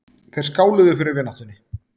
Þeir skáluðu fyrir vináttunni.